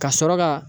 Ka sɔrɔ ka